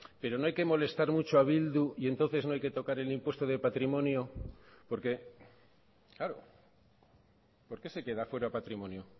pero no hay que molestar mucho a bildu y entonces no hay que tocar el impuesto de patrimonio porque claro por qué se queda fuera patrimonio